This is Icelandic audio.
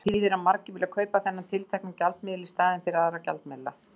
Það þýðir að margir vilja kaupa þennan tiltekna gjaldmiðil í staðinn fyrir aðra gjaldmiðla.